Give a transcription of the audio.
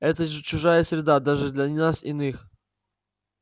это же чужая среда даже для нас иных